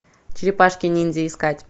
черепашки ниндзя искать